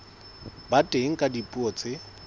ba teng ka dipuo tse